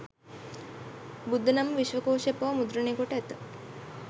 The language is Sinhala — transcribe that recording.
බුද්ධනාම විශ්වකෝෂයක් පවා මුද්‍රණය කොට ඇත